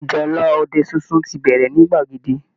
Ìjálá ọdẹ sunsun ti bẹ̀rẹ̀ ní gbàgede